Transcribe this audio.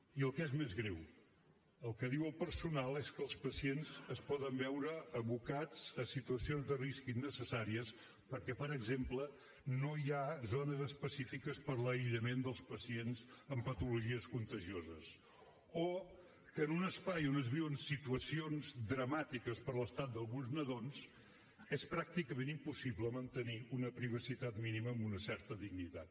i el que és més greu el que diu el personal és que els pacients es poden veure abocats a situacions de risc innecessàries perquè per exemple no hi ha zones específiques per a l’aïllament dels pacients amb patologies contagioses o que en un espai on es viuen situacions dramàtiques per l’estat d’alguns nadons és pràcticament impossible mantenir una privacitat mínima amb una certa dignitat